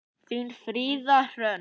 Þín, Fríða Hrönn.